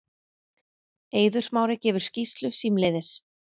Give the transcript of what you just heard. Eiður Smári gefur skýrslu símleiðis